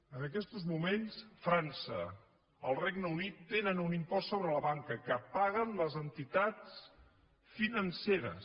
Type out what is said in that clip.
en aquestos moments frança i el regne unit tenen un impost sobre la banca que paguen les entitats financeres